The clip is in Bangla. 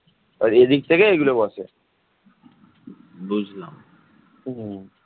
অন্যদিকে সামুদ্রিক বাণিজ্য ও প্রাচীন রাজনীতিরও উদ্ভব হয়